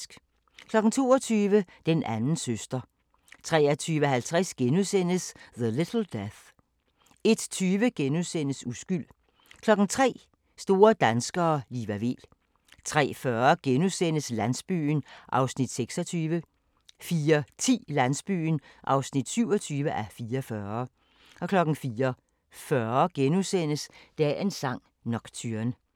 22:00: Den anden søster 23:50: The Little Death * 01:20: Uskyld * 03:00: Store danskere - Liva Weel 03:40: Landsbyen (26:44)* 04:10: Landsbyen (27:44) 04:40: Dagens sang: Nocturne *